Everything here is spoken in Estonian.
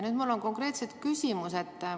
Mul on konkreetne küsimus.